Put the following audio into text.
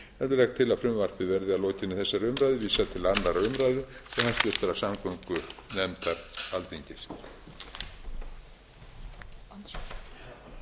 heldur legg til að frumvarpið verði að lokinni þessari umræðu vísað til annarrar umræðu og hæstvirtrar samgöngunefndar alþingis